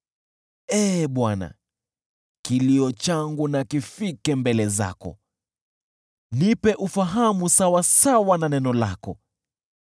Ee Bwana , kilio changu na kifike mbele zako, nipe ufahamu sawasawa na neno lako.